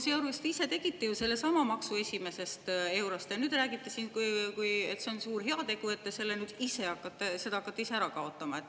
Sealjuures te ise tegite ju sellesama maksu esimesest eurost ja nüüd räägite siin, et see on suur heategu, et te seda hakkate ära kaotama.